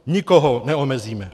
Nikoho neomezíme.